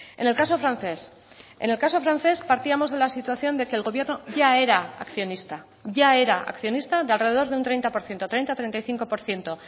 en el caso francés en el caso francés partíamos de la situación de que el gobierno ya era accionista ya era accionista de alrededor de un treinta por ciento treinta treinta y cinco por ciento